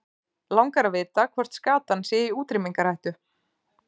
Langar að vita hvort skatan sé í útrýmingarhættu.